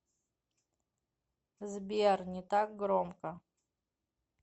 сбер не так громко